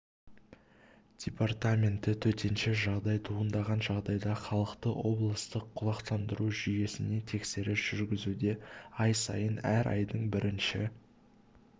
департаменті төтенше жағдай туындаған жағдайда халықты облыстық құлақтандыру жүйесіне тексеріс жүргізуде ай сайын әр айдын бірінші